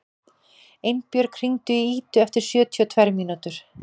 Einbjörg, hringdu í Idu eftir sjötíu og tvær mínútur.